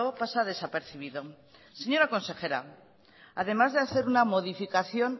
pasa desapercibido señora consejera además de hacer una modificación